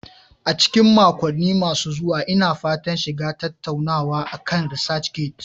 A cikin makonni masu zuwa, Ina fatan shiga tattaunawa akan ResearchGate.